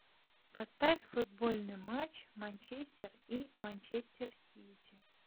поставь футбольный матч манчестер и манчестер сити